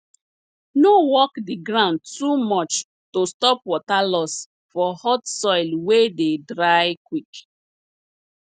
no work di ground too much to stop water loss for hot soil wey dey dry quick